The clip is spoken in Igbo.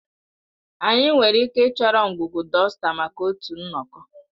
Anyị nwere ike ịchọrọ ngwugwu dọsta maka otu nnọkọ